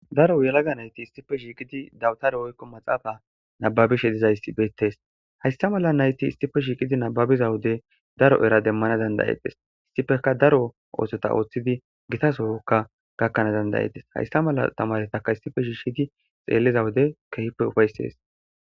daro yalaga nayti istife shiiqidi dawutare oykko maxaafa nababishe dizaysbeettes haysta mala nayti istife shiiqidi nababiza wode daro era demmana dandayetes istifeka daro oosota ooththidi gita sohokka gakkanaa dandayetes haysta mala tamaretaka istife shishigi xeelliza wude kehipe ufaysees